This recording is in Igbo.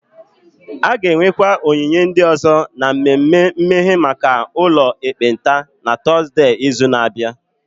A ga-enwekwa onyinye ndị ọzọ na mmemme mmeghe maka ụlọ ekpenta na Tọzdee izu na-abịa